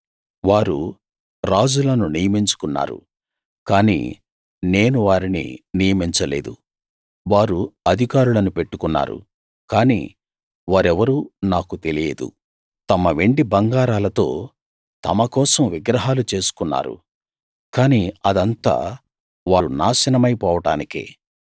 వారు రాజులను నియమించుకున్నారు కానీ నేను వారిని నియమించలేదు వారు అధికారులను పెట్టుకున్నారు కానీ వారెవరూ నాకు తెలియదు తమ వెండి బంగారాలతో తమ కోసం విగ్రహాలు చేసుకున్నారు కానీ అదంతా వారు నాశనమై పోవడానికే